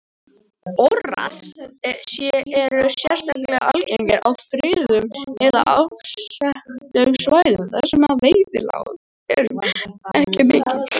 Orrar eru sérstaklega algengir á friðuðum eða afskekktum svæðum þar sem veiðiálag er ekki mikið.